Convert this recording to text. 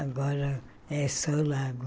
Agora é só o lago.